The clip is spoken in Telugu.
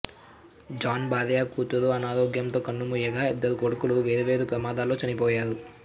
జాన్ భార్యా కూతురూ అనారోగ్యంతో కన్నుమూయగా ఇద్దరుకొడుకులు వేర్వేరు ప్రమాదాల్లో చనిపోయారు